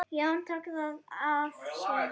Jón tók það að sér.